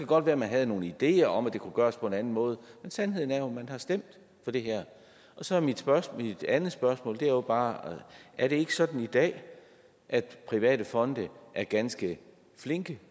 godt være at man havde nogle ideer om at det kunne gøres på en anden måde sandheden er jo at man har stemt for det her og så er mit andet spørgsmål bare er det ikke sådan i dag at private fonde er ganske flinke